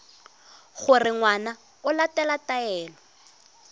gore ngwana o latela taelo